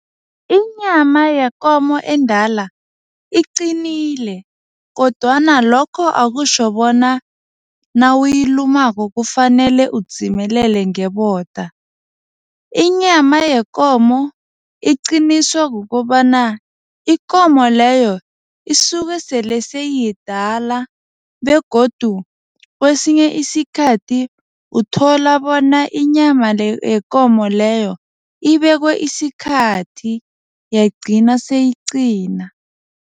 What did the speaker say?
Inyama yekomo endala iqinile kodwana lokho akutjho bona nawuyilumako kufanele udzimelele ngeboda. Inyama yekomo iqiniswe kukobana ikomo leyo isuke sele seyiyidala begodu kwesinye isikhathi uthola bona inyama yekomo leyo ibekwe isikhathi yagcina seyiqina.